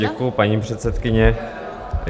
Děkuji, paní předsedkyně.